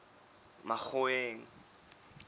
makgoweng